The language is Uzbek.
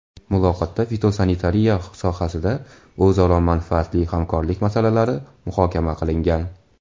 Muloqotda fitosanitariya sohasida o‘zaro manfaatli hamkorlik masalalari muhokama qilingan.